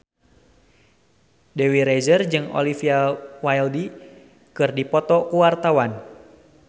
Dewi Rezer jeung Olivia Wilde keur dipoto ku wartawan